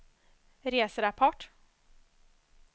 reserapport